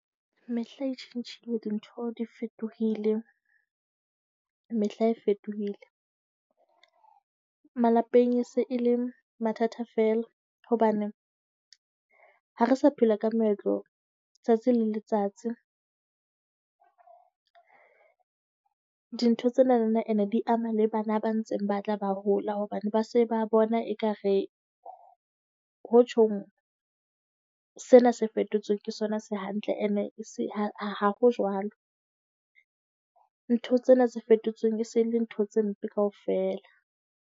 Mehla e tjhentjhile dintho di fetohile. Mehla e fetohile, malapeng e se e le mathata fela hobane ha re sa phela ka meetlo letsatsi le letsatsi. Dintho tsena lona ene di ama le bana ba ntseng ba tla ba hola hobane ba se ba bona ekare ho tjhong sena se fetotsweng ke sona se hantle. Ene ha ho jwalo, ntho tsena tse fetotseng e se e le ntho tse mpe kaofela.